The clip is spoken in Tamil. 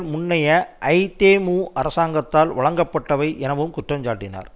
முன்னைய ஐதேமு அரசாங்கத்தால் வழங்கப்பட்டவை எனவும் குற்றம் சாட்டினார்